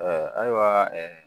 Ɛɛ ayiwa